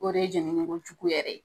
O de ye jɛnini ko jugu yɛrɛ ye